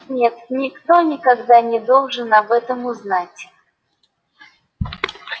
нет никто никогда не должен об этом узнать